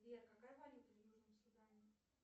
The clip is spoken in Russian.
сбер какая валюта в южном судане